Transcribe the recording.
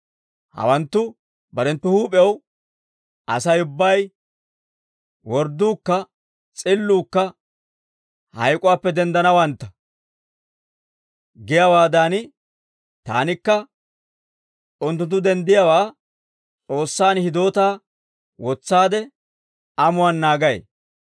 Hawanttu barenttu huup'ew, ‹Asay ubbay, wordduukka s'illuukka hayk'uwaappe denddanawantta› giyaawaadan, taanikka unttunttu denddiyaawaa S'oossaan hidootaa wotsaade amuwaan naagay.